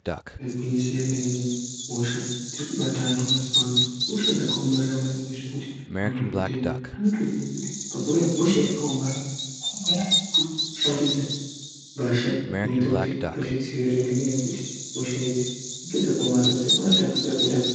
Igwinyiso yemene, hosha dziri kubata antu mazuwa ano ihosha dzakaomarara maningi zvekuti madhokodheya anotoziya kuti pakauya hosha yakaomarara vanogara vakashambidza mbasha dzinoita kuti vazvidzivirire ngenyaya yekuti hosha idzi ngedzakaomarara dzogona kutapukira kuenda kwavari.